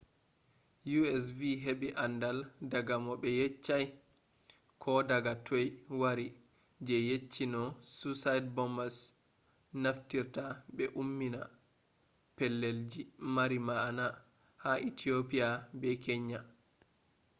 u.s. vi heɓi andal daga mo ɓe yeccai ko daga toi wari je yecci no suicide bombers naftirta ɓe ummina pellelji mari ma’ana ” ha ethiopia be kenya